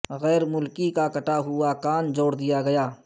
غیر ملکی کا کٹا ہوا کان جوڑ دیا گیا